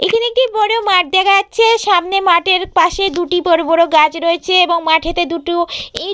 এখানে একটি বড় মাঠ দেখা যাচ্ছে সামনে মাঠের পাশে দুটি বড় বড় গাছ রয়েছে এবং মাঠেতে দুটো ইঁট--